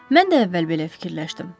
Mən də əvvəl belə fikirləşdim.